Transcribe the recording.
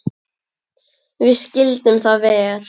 Við skildum það vel.